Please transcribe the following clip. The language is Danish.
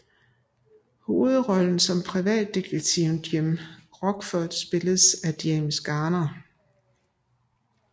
Hovedrollen som privatdetektiven Jim Rockford spilles af James Garner